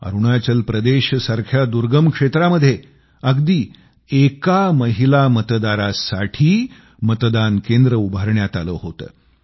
अरुणाचल प्रदेश सारख्या दुर्गम क्षेत्रामध्ये अगदी एका महिला मतदारासाठी मतदान केंद्र बनवण्यात आलं होतं